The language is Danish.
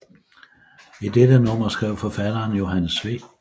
I dette nummer skrev forfatteren Johannes V